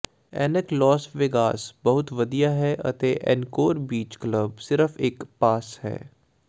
ਐਨਕ Las Vegas ਬਹੁਤ ਵਧੀਆ ਹੈ ਅਤੇ ਏਨਕੋਰ ਬੀਚ ਕਲੱਬ ਸਿਰਫ ਇਕ ਪਾਸ਼ ਹੈ